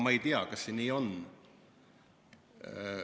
Ma ei tea, kas see nii on.